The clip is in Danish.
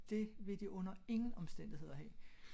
Det vil de under ingen omstændigheder have